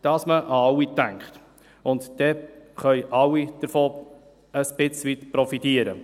Dann können alle ein Stück weit davon profitieren.